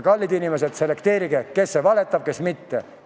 Kallid inimesed, selekteerige, kes valetab, kes mitte.